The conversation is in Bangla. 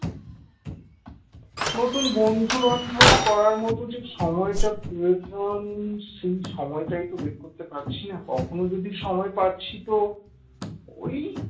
নতুন বন্ধু-বান্ধব করার মত যে সময়টা প্রয়োজন সেই সময়টাই তো বের করতে পারছি না কখনো যদি সময় পাচ্ছি তো ওই